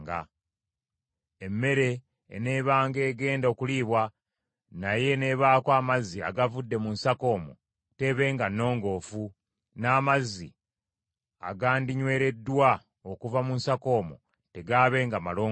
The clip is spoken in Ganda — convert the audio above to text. Emmere eneebanga egenda okuliibwa naye n’ebaako amazzi agavudde mu nsaka omwo, teebenga nnongoofu, n’amazzi agandinywereddwa okuva mu nsaka omwo tegaabenga malongoofu.